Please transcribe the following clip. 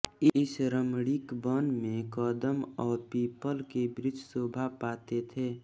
इस रमणीक वन में कदंब और पीपल के वृक्ष शोभा पाते थे